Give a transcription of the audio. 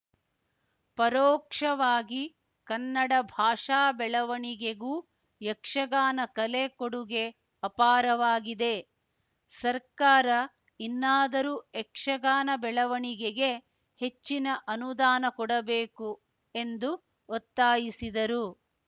ಪರೋಕ್ಷವಾಗಿ ಕನ್ನಡ ಭಾಷಾ ಬೆಳವಣಿಗೆಗೂ ಯಕ್ಷಗಾನ ಕಲೆ ಕೊಡುಗೆ ಅಪಾರವಾಗಿದೆ ಸರ್ಕಾರ ಇನ್ನಾದರೂ ಯಕ್ಷಗಾನ ಬೆಳವಣಿಗೆಗೆ ಹೆಚ್ಚಿನ ಅನುದಾನ ಕೊಡಬೇಕು ಎಂದು ಒತ್ತಾಯಿಸಿದರು